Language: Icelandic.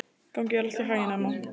Gangi þér allt í haginn, Emma.